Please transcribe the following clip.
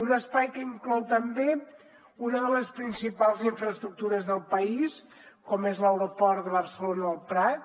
un espai que inclou també una de les principals infraestructures del país com és l’aeroport de barcelona el prat